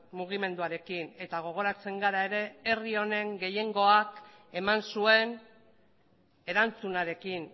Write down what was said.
mugimenduarekin eta gogoratzen gara ere herri honen gehiengoak eman zuen erantzunarekin